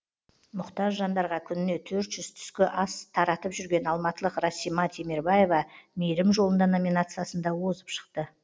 мұқтаж жандарға күніне төрт жүз түскі ас таратып жүрген алматылық расима темербаева мейірім жолында номинациясында озып шықты